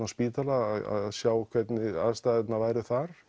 á spítala að sjá hvernig aðstæðurnar væru þar